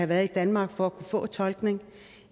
været i danmark for at kunne få tolkning